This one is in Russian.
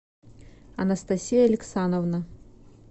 анастасия алексановна